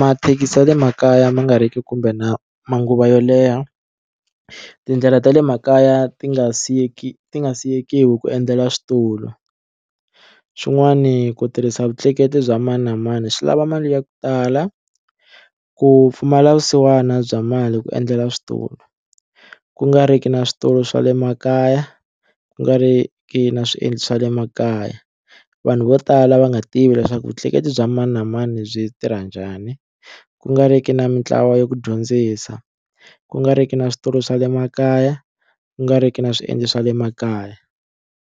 mathekisi ya le makaya ma nga ri ki kumbe na manguva yo leha tindlela ta le makaya ti nga siyeki ti ngasiyeki ku endlela switulu xin'wani ku tirhisa vutleketli bya mani na mani swi lava mali ya ku tala ku pfumala vusiwana bya mali ku endlela switulu ku nga ri ki na switulu swa le makaya ku nga ri ki na swiendlo swa le makaya vanhu vo tala va nga tivi leswaku vutleketli bya mani na mani byi tirha njhani ku nga ri ki na mintlawa yo ku dyondzisa ku nga ri ki na switulu swa le makaya ku nga ri ki na swiendlo swa le makaya.